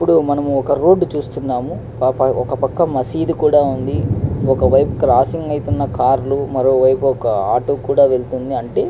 ఇక్కడ మనం ఒక రోడ్ చుస్తునము ఒక పక్క మసీద్ కూడా వుంది ఒక వైపు క్రాసింగ్ అయ్తున కార్ లు ఆటో కూడా కనిపిస్తుంది.